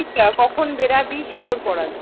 কাল কখন বেরোবি sure কর আগে ।